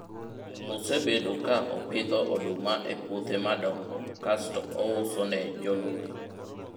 osebedo ka opidho oduma e puothe madongo kasto ouso ne jolori